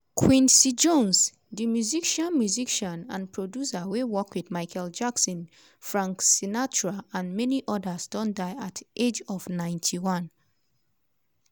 quincy jones di musician musician and producer wey work wit michael jackson frank sinatra and many odas don die at di age of 91.